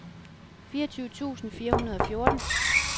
fireogtyve tusind fire hundrede og fjorten